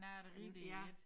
Nej det rigtigt ik